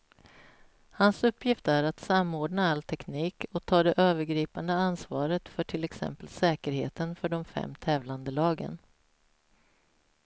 Hans uppgift är att samordna all teknik och ta det övergripande ansvaret för till exempel säkerheten för de fem tävlande lagen.